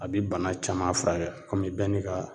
A bi bana caman furakɛ kɔmi bɛɛ n'i ka